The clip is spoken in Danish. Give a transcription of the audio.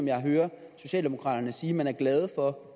jeg hører socialdemokraterne sige man er glad for